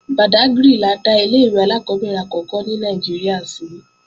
Bàdágrì la dá ilé-ìwé alákọ́bẹ̀rẹ̀ àkọ́kọ́ ní Nàìjíríà sí